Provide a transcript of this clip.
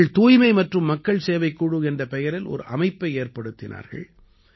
இவர்கள் தூய்மை மற்றும் மக்கள் சேவைக் குழு என்ற பெயரில் ஒரு அமைப்பை ஏற்படுத்தினார்கள்